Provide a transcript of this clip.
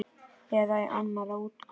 Eða í annarri útgáfu